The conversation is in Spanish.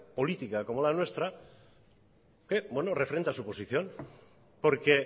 política como la nuestra que refrenda su posición porque